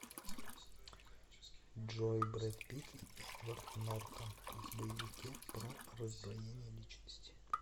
джой брэд пит и эдвард нортан в боевике про раздвоение личности